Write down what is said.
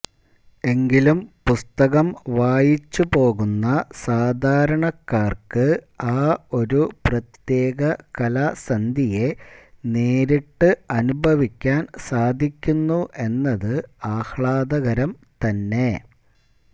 എങ്കിലും പുസ്തകം വായിച്ചുപോകുന്ന സാധാരണക്കാര്ക്ക് ആ ഒരു പ്രത്യേക കാലസന്ധിയെ നേരിട്ട് അനുഭവിക്കാന് സാധിക്കുന്നു എന്നത് ആഹ്ലാദകരം തന്നെ